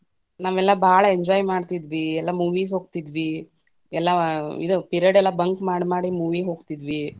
ನಾವೆಲ್ಲಾ ಬಾಳ enjoy ಮಾಡ್ತಿದ್ವಿ, ಎಲ್ಲಾ movies ಹೋಗ್ತಿದ್ವಿ, ಎಲ್ಲಾ ಇದ period ಎಲ್ಲಾ bunk ಮಾಡ್ ಮಾಡಿ, movie ಹೋಗ್ತಿದ್ವಿ.